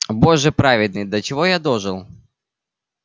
боже праведный до чего я дожил